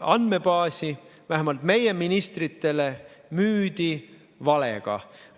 andmebaasi vähemalt meie ministritele müüdi valega.